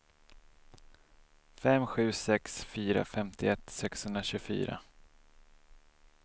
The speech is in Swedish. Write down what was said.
fem sju sex fyra femtioett sexhundratjugofyra